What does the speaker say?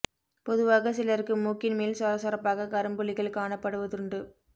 பொதுவாக சிலருக்கு மூக்கின் மேல் சொர சொரப்பாக கரும்புள்ளிகள் காணப்படுவதுண்டு